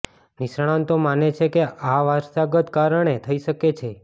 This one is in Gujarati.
નિષ્ણાતો માને છે કે આ વારસાગત કારણે થઈ શકે છે